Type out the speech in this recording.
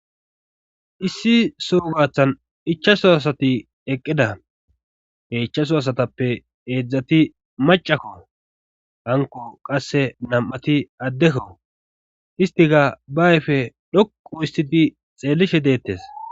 Issi soo gathan ichaso asati eqqida he ichchaso asatappe eedzdzati macakko hanko qasse nam7ati addekko histika ba ayfe dhoqo istiti xeellishe deettes.